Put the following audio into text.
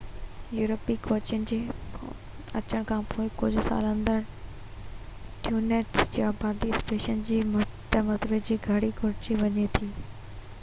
يورپي کوجين جي اچڻ کانپوءِ ڪجهه سالن اندر ، ٽينوس جي آبادي اسپين جي فتح مندن جي ڪري گهٽجي وئي هئي